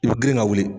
I bɛ girin ka wuli